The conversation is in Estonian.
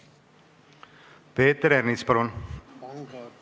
Peeter Ernits, palun!